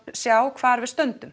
sjá hvar við stöndum